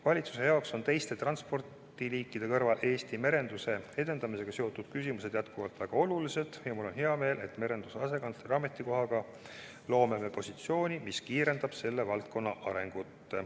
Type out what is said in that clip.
Valitsuse jaoks on teiste transpordiliikide kõrval Eesti merenduse edendamisega seotud küsimused endiselt väga olulised ja mul on hea meel, et me loome merenduse asekantsleri ametikoha kasutuselevõtuga positsiooni, mis kiirendab selle valdkonna arengut.